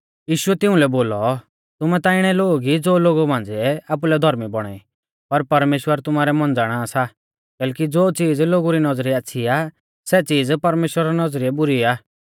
यीशुऐ तिउंलै बोलौ तुमै ता इणै लोग ई ज़ो लोगु मांझ़िऐ आपुलै धौर्मी बौणा ई पर परमेश्‍वर तुमारै मन ज़ाणा सा कैलैकि ज़ो चीज़ लोगु री नौज़रीयै आच़्छ़ी आ सै च़ीज़ परमेश्‍वरा री नौज़रीयै बुरी आ